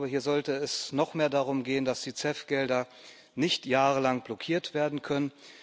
Ich glaube, hier sollte es noch mehr darum gehen, dass die CEF Gelder nicht jahrelang blockiert werden können.